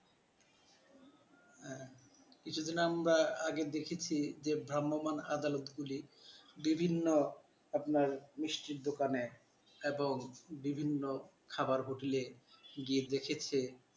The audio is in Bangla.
কিছুদিন আমরা আগে দেখেছি ধর্মমাণ আদালত গুলি বিভিন্ন আপনার মিষ্টির দোকানে এবং বিভিন্ন খাবার hotel গিয়ে দেখেছে ।